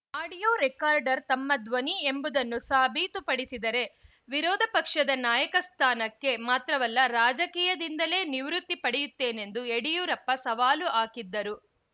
audio recorder ತಮ್ಮ ಧ್ವನಿ ಎಂಬುದನ್ನು ಸಾಬೀತುಪಡಿಸಿದರೆ ವಿರೋದ ಪಕ್ಷ ನಾಯಕ ಸ್ಥಾನಕ್ಕೆ ಮಾತ್ರವಲ್ಲ ರಾಜಕೀಯದಿಂದಲೇ ನಿವೃತ್ತಿ ಪಡೆಯುತ್ತೇನೆಂದು ಯಡಿಯೂರಪ್ಪ ಸವಾಲು ಹಾಕಿದ್ದರು